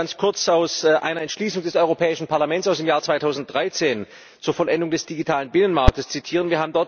Ich möchte ganz kurz aus einer Entschließung des Europäischen Parlaments aus dem Jahr 2013 zur Vollendung des digitalen Binnenmarkts zitieren.